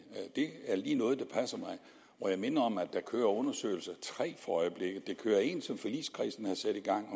det er lige noget der passer mig og jeg minder om at der kører tre for øjeblikket der kører en som forligskredsen har sat i gang